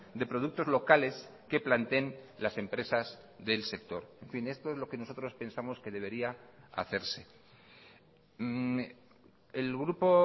de productos locales que planteen las empresas del sector en fin esto es lo que nosotros pensamos que debería hacerse el grupo